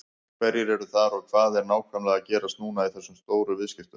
Hverjir eru þar og hvað er nákvæmlega að gerast núna í þessum stóru viðskiptum?